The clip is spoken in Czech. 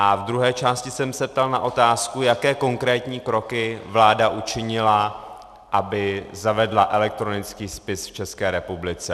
A v druhé části jsem se ptal na otázku, jaké konkrétní kroky vláda učinila, aby zavedla elektronický spis v České republice.